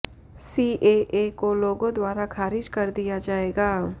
CAA को लोगों द्वारा खारिज कर दिया जाएगा